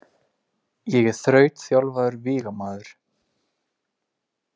Ég er þrautþjálfaður vígamaður.